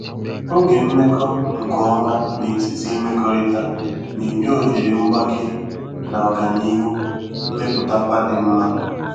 Oge mmekọ nke ọma n'etiti imekọrịta na-enye ohere mgbake na oganihu mmepụtakwa di nma.